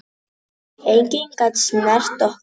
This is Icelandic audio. Enginn gat snert okkur.